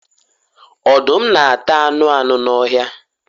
Ọdum nāta anu anu n'ọhia